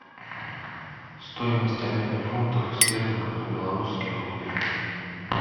стоимость обмена фунтов стерлингов на белорусские рубли